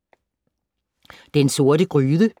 Den Sorte Gryde